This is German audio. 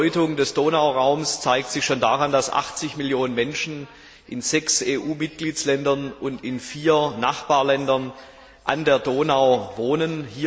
Die Bedeutung des Donauraums zeigt sich schon daran, dass 80 Millionen Menschen in sechs EU Mitgliedsländern und in vier Nachbarländern an der Donau wohnen.